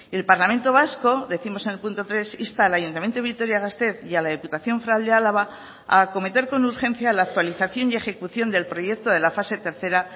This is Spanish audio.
el parlamento vasco décimos en el punto tres insta al ayuntamiento de vitoria gasteiz y a la diputación foral de álava a acometer con urgencia la actualización y ejecución del proyecto de la fase tercera